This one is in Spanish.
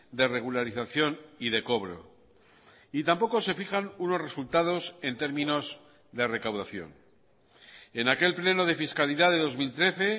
de regularización y de cobro y tampoco se fijan unos resultados en términos de recaudación en aquel pleno de fiscalidad de dos mil trece